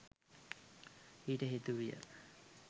ඊට හේතු විය.